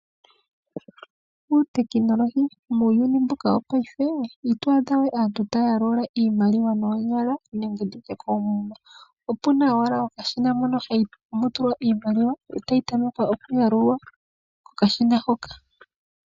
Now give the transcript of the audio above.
Uutekinolohi muuyuni mbuka wongashingeyi ito adhawe aantu taya yalula iimaliwa noonyala nenge koomuma. Opuna owala okashina mono hamu tulwa iimaliwa etayi tameke tayi yalulwa kokashina hoka.